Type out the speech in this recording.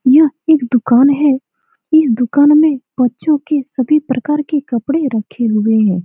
यह एक दुकान है इस दुकान में बच्चों के सभी प्रकार के कपड़े रखे हुए हैं।